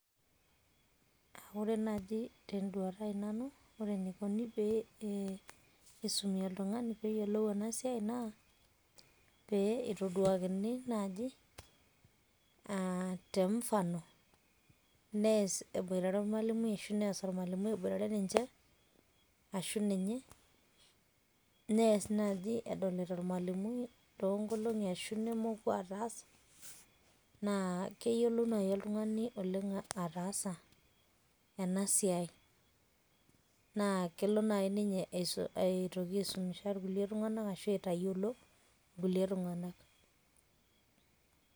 Ore naaji tenduata aai nanu, ore eneikuni pee isumi oltung'ani pee eyiolou ena siai naa pee itoduakini naaji temfano, nees eboitare ormalimui ashu nees ormalimui ebotare ninche ashu ninye, nees naaji edolita ormalimui toonkolong'i ashu nemoku ataasa, naa keyiolou naai oltung'ani oleng' ataasa ena siai. Naa kelo naai inye aitoki aisomesha kulie tung'ana ashu aitayiolo kulie tung'anak